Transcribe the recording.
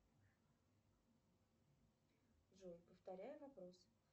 джой повторяю вопрос